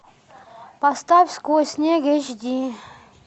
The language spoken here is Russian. поставь сквозь снег эйч ди